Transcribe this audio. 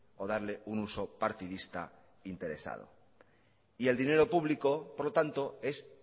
o darle un uso partidista interesado y el dinero público por lo tanto es